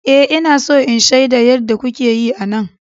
Ee, Ina so in shaida yadda kuke yi a nan.